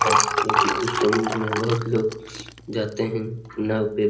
है लेकिन उस समुद्र में बहुत लोग जाते हैं नाव पे।